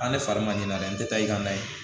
A ne fari ma ɲinan dɛ n tɛ taa i ka na ye